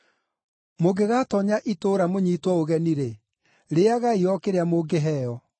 “Mũngĩgatoonya itũũra mũnyiitwo ũgeni-rĩ, rĩĩagai o kĩrĩa mũngĩheo.